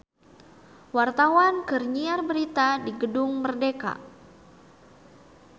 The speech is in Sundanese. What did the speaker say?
Wartawan keur nyiar berita di Gedung Merdeka